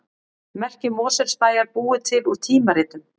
Merki Mosfellsbæjar búið til úr tímaritum